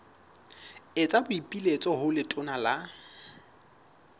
etsa boipiletso ho letona la